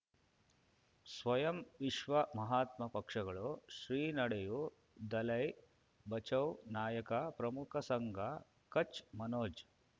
ಸ್ವಯಂ ವಿಶ್ವ ಮಹಾತ್ಮ ಪಕ್ಷಗಳು ಶ್ರೀ ನಡೆಯೂ ದಲೈ ಬಚೌ ನಾಯಕ ಪ್ರಮುಖ ಸಂಘ ಕಚ್ ಮನೋಜ್